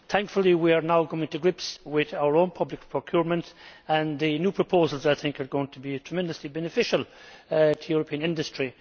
Thankfully we are now getting to grips with our own public procurement, and I think the new proposals are going to be tremendously beneficial to European industry.